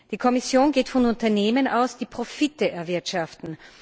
Die Kommission geht von Unternehmen aus, die Profite erwirtschaften.